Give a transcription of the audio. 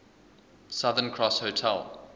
southern cross hotel